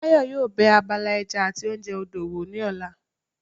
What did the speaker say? Báyọ̀ yóò bẹ abala ẹja àti oúnjẹ odò wò ní ọ̀la